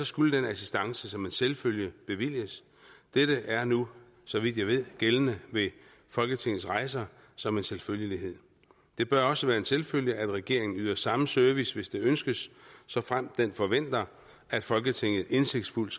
skulle den assistance som en selvfølge bevilges dette er nu så vidt jeg ved gældende ved folketingets rejser som en selvfølgelighed det bør også være en selvfølge at regeringen yder samme service hvis det ønskes såfremt den forventer at folketinget indsigtsfuldt